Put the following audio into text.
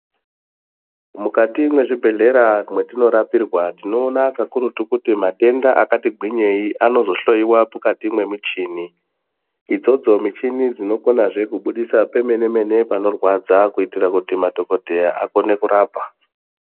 Mukati mwezvibhedhlera mwetinorapirwa tinoona kakurutu kuti matenda akati gwinyei anozohloiwa mukati mwemichini idzodzo michini dzinokona kubudisa pemene mene panorwadza kuitira kuti madhokodheya akone kurapa.